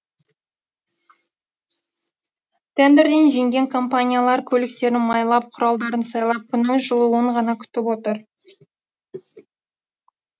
тендерден жеңген компаниялар көліктерін майлап құралдарын сайлап күннің жылуын ғана күтіп отыр